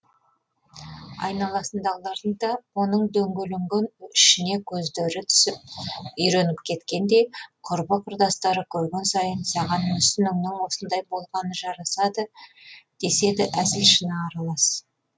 айналасындағылардың да оның дөңгеленген ішіне көздері үйреніп кеткендей құрбы құрдастары көрген сайын саған мүсініңнің осындай болғаны жарасады деседі әзіл шыны аралас